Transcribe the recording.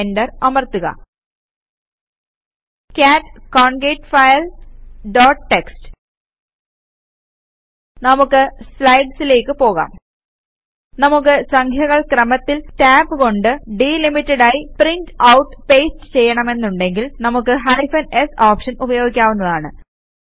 enter അമർത്തുക cat concat file dot TXT നമുക്ക് സ്ലൈഡ്സിലേക്ക് പോകാം നമുക്ക് സംഖ്യകൾ ക്രമത്തിൽ ടാബ് കൊണ്ട് ഡിലിമിറ്റഡ് ആയി പ്രിന്റ് ഔട്ട് പേസ്റ്റ് ചെയ്യണമെന്നുണ്ടങ്കിൽ നമുക്ക് ഹൈഫൻ s ഓപ്ഷൻ ഉപയോഗിക്കാവുന്നതാണ്